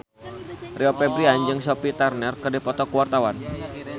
Rio Febrian jeung Sophie Turner keur dipoto ku wartawan